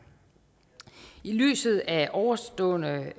i lyset af ovenstående